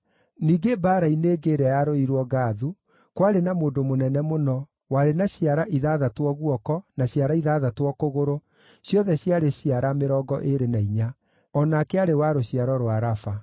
Ningĩ mbaara-inĩ ĩngĩ ĩrĩa yarũĩirwo Gathu, kwarĩ na mũndũ mũnene mũno, warĩ na ciara ithathatũ o guoko, na ciara ithathatũ o kũgũrũ, ciothe ciarĩ ciara mĩrongo ĩĩrĩ na inya. O nake aarĩ wa rũciaro rwa Rafa.